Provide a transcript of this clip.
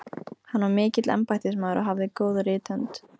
Hann var mikill embættismaður og hafði góða rithönd.